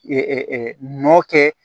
nɔ kɛ